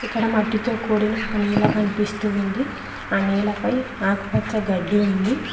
ఇక్కడ మట్టితో కూడిన ఒక నేల కనిపిస్తూ ఉంది ఆ నేలపై ఆకుపచ్చ గడ్డి ఉంది.